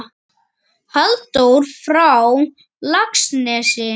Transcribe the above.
Halldór frá Laxnesi?